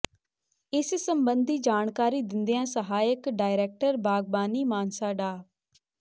ਇਸ ਸਬੰਧੀ ਜਾਣਕਾਰੀ ਦਿੰਦਿਆਂ ਸਹਾਇਕ ਡਾਇਰੈਕਟਰ ਬਾਗਬਾਨੀ ਮਾਨਸਾ ਡਾ